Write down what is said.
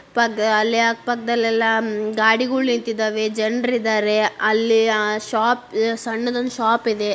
ಅಲ್ಲಿ ಅಹ್ ಅಲ್ಲಿ ಅಕ್ಪಕದಲ್ಲೆಲ್ಲಾ ಉಮ್ ಗಾಡಿಗಳು ನಿಂತಿದವೆ ಜನ್ರು ಇದ್ದಾರೆ ಅಲ್ಲಿ ಅಹ್ ಶಾಪ್ ಸಣ್ಣದೊಂದು ಶಾಪ್ ಇದೆ.